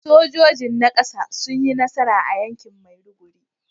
Sojojin na kasa sun yi nasara a yakin Maiduguri